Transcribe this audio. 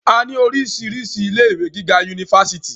a ní oríṣiríṣi ilé ìwé gíga unifásitì